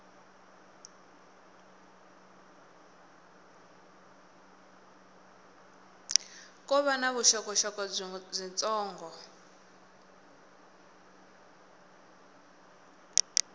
ko va na vuxokoxoko byitsongo